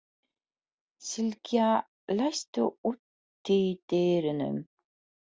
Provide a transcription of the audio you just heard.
Sylgja, læstu útidyrunum.